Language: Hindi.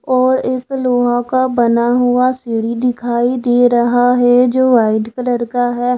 और इस लोहा का बना हुआ सीढ़ी दिखाई दे रहा है जो वाइट कलर का है।